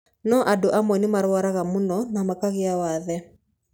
No andũ amwe nĩ marwaraga mũno na makagĩa wathe.